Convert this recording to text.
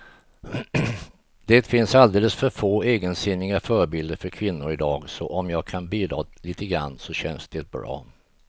Det finns alldeles för få egensinniga förebilder för kvinnor i dag, så om jag kan bidra lite grann så känns det bra.